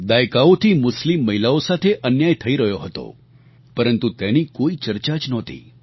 દાયકાઓથી મુસ્લિમ મહિલાઓ સાથે અન્યાય થઈ રહ્યો હતો પરંતુ તેની કોઈ ચર્ચા જ નહોતી